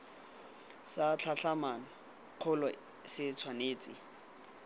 sa tlhatlhamano kgolo se tshwanetse